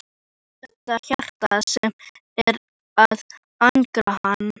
Er þetta þá hjartað sem er að angra hana?